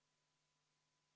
V a h e a e g